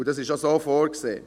Das ist auch so vorgesehen.